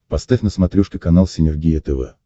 поставь на смотрешке канал синергия тв